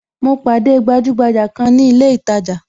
Mo pàdé gbajugbaja kan ni ilé itaja